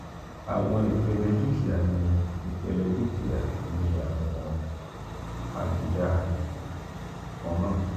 awọn ipele dukia ni ipele dukia ni awọn abuda kan náà.